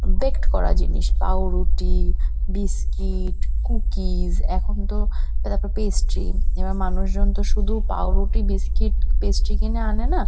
বেক্ট করা জিনিস। পাউরুটি বিস্কিট কুকিস . এখন তো তারপর পেস্ট্রি . এবার মানুষজন তো শুধু পাউরুটি বিস্কিট পেস্ট্রি কিনে আনে না ।